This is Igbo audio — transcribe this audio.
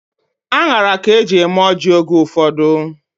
Aṅara ka eji eme ọjị oge ụfọdụ.